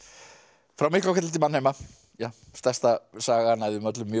frá Miklahvelli til mannheima stærsta sagan af þeim öllum mjög